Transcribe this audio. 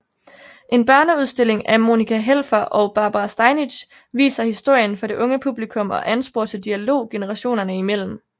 En børneudstilling af Monika Helfer og Barbara Steinitz viser historien for det unge publikum og ansporer til dialog generationerne imellem